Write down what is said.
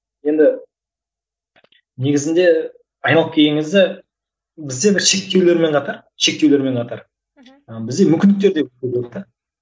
енді негізінде айналып келген кезде бізде бір шектеулермен қатар шектеулермен қатар мхм бізде мүмкіндіктер